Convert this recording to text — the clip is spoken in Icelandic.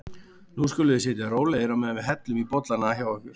Nú skuluð þið sitja rólegir á meðan við hellum í bollana hjá ykkur.